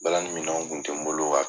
Balanni minɛnw kun tɛ n bolo wa